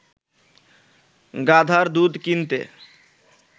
গাধার দুধ কিনতে